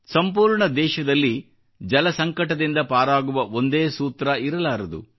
ಸಂಪೂರ್ಣ ದೇಶದಲ್ಲಿ ಜಲಸಂಕಟದಿಂದ ಪಾರಾಗುವ ಒಂದೇ ಸೂತ್ರ ಇರಲಾರದು